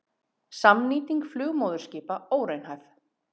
Samnýting flugmóðurskipa óraunhæf